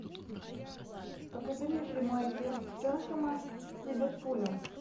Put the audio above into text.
покажи мне прямой эфир тоттенхэма с ливерпулем